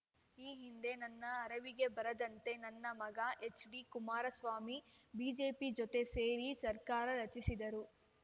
ಈ ಹಿಂದೆ ನನ್ನ ಅರಿವಿಗೆ ಬಾರದಂತೆ ನನ್ನ ಮಗ ಎಚ್‌ಡಿಕುಮಾರಸ್ವಾಮಿ ಬಿಜೆಪಿ ಜೊತೆ ಸೇರಿ ಸರ್ಕಾರ ರಚಿಸಿದ್ದರು